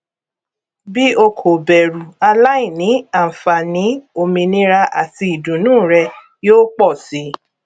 bí o kò bẹrù aláìní àǹfààní òmìnira àti ìdùnú rẹ yóò pọ sí